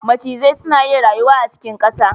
Macizai suna rayuwa a cikin ƙasa